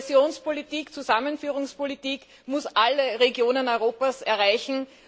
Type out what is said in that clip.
Kohäsions und Zusammenführungspolitik muss alle Regionen Europas erreichen.